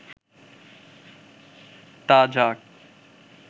তা যাক